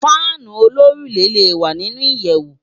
Fànú ólórùlé lé wá ninú iyèwú